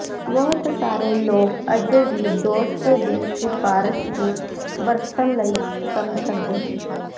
ਬਹੁਤ ਸਾਰੇ ਲੋਕ ਅਜੇ ਵੀ ਦੋਸਤ ਦੀ ਸਿਫਾਰਸ਼ ਨੂੰ ਵਰਤਣ ਲਈ ਪਸੰਦ ਕਰਦੇ ਹਨ